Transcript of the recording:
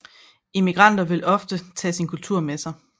Immigranter vil ofte tage sin kultur med sig